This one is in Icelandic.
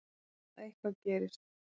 Að eitthvað gerist.